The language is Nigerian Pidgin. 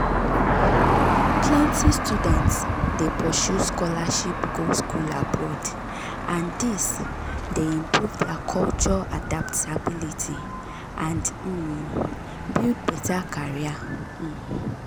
plenty students dey pursue scholarship go school abroad and this dey improve their culture adaptability and um build better career. um